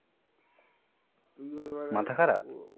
মাথা খারাপ?